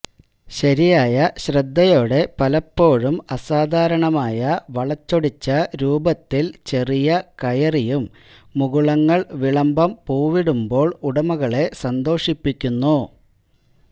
ശരിയായ ശ്രദ്ധയോടെ പലപ്പോഴും അസാധാരണമായ വളച്ചൊടിച്ച രൂപത്തിൽ ചെറിയ കയറിയും മുകുളങ്ങൾ വിളംബം പൂവിടുമ്പോൾ ഉടമകളെ സന്തോഷിപ്പിക്കുന്നു